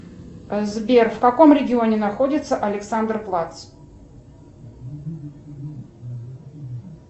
сбер в каком регионе находится александр плац